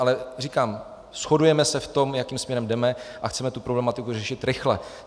Ale říkám, shodujeme se v tom, jakým směrem jdeme, a chceme tu problematiku řešit rychle.